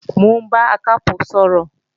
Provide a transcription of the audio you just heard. Mò ń bá Akápò sọ̀rọ̀